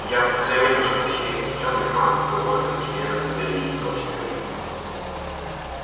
я вдруг заметил что все и тёмный маг и ольга и лена и боевики смотрят на меня